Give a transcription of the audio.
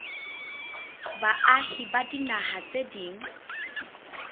baahi ba dinaha tse ding